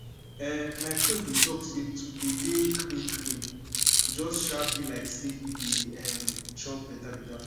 ehn my coach bin talk say to dey dey clean clean just um bi like say you dey um chop beta beta food